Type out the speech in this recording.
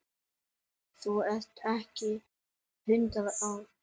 Þú ert ekki hundrað ára!